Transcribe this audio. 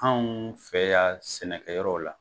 Anw fɛ yan sɛnɛkɛ yɔrɔw la.